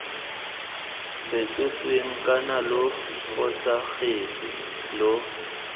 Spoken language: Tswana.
fetotsweng kana lo fosagatse lo